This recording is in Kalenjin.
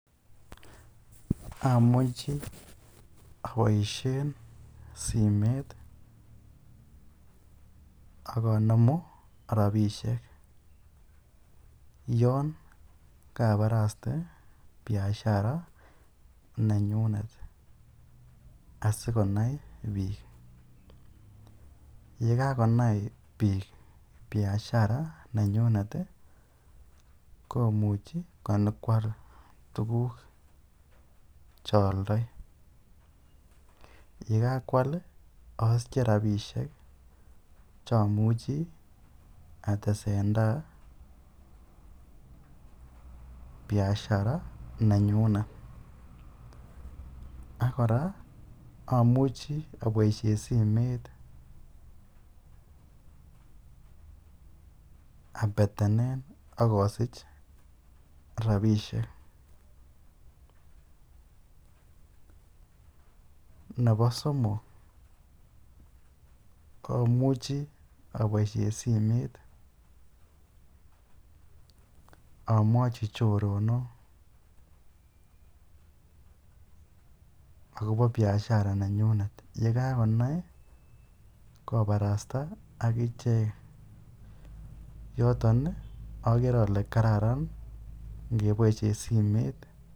Amuche aboishen simoit ak onemu rabishek yoon kabaraste biashara nenyunet asikonai biik, yekakonai biik biashara nenyunet komuche konyokwal tukuk chooldoi, yekakwal osiche rabishek chomuchi atesentai biashara nenyunet ak kora omuche aboishen simoit abetenen ak osich rabishek, nebo somok amuchi aboishen simoit amwochi choronok akobo biashara nenyunet yekakonai kobarasta akichek yoton okere olee kararan ingeboishen simoit.